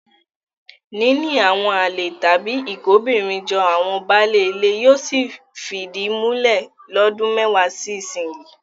Níní àwọn àlè tàbí ìkóbìnrinjọ àwọn baálé ilé yóò sì fìdí múlẹ̀ lọ́dún mẹ́wàá sí ìsinyìí.